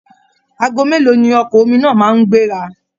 Aago mélòó ni ọkọ̀ omi náà máa ń gbéra?